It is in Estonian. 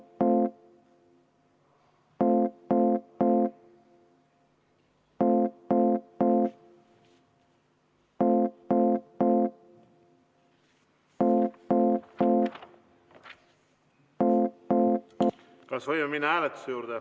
Aitäh!